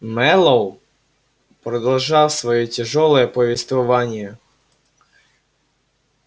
мэллоу продолжал своё тяжёлое повествование